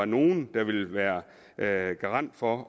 nogle ville være være garant for